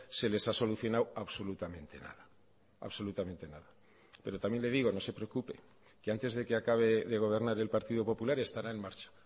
se les ha solucionado absolutamente nada absolutamente nada pero también le digo no se preocupe que antes de que acabe de gobernar el partido popular estará en marcha